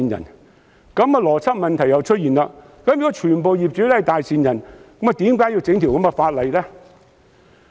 如此一來，邏輯問題再度出現：如果全部業主都是大善人，何須提出這項法案？